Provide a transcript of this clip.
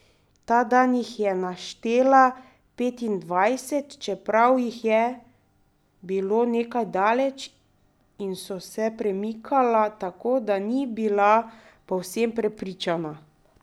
Ta dan jih je naštela petindvajset, čeprav jih je bilo nekaj daleč in so se premikala, tako da ni bila povsem prepričana.